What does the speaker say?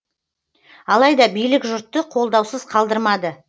алайда билік жұртты қолдаусыз қалдырмады